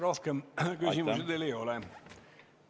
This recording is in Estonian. Rohkem küsimusi teile ei ole.